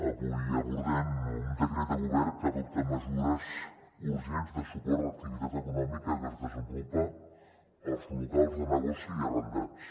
avui abordem un decret de govern que adopta mesures urgents de suport a l’activitat econòmica que es desenvolupa als locals de negoci arrendats